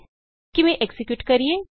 ਇਸਨੂੰ ਕਿਵੇਂ ਐਕਜ਼ੀਕਿਯੂਟ ਕਰਨਾ ਹੈ